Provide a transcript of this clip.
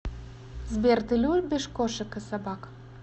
сбер ты любишь кошек и собак